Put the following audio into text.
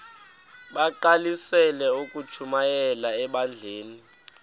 bagqalisele ukushumayela ebandleni